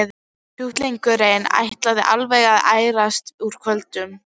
Sjúklingurinn ætlaði alveg að ærast úr kvölum.